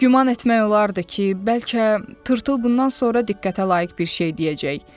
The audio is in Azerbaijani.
Güman etmək olardı ki, bəlkə Tırtıl bundan sonra diqqətə layiq bir şey deyəcək.